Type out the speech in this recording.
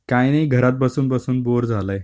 काही नाही घरात बसून बसून बोर झालय.